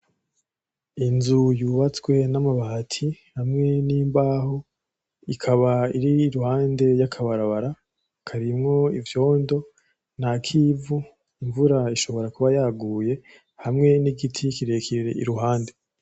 Inzu yubatswe namabati hamwe nimbaho ikaba iri iruhande yakabarabara harimwo ivyondo nakivu , imvura ishobora kuba yaguye , hamwe nigiti kirekire iruhande.